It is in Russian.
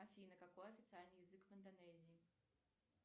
афина какой официальный язык в индонезии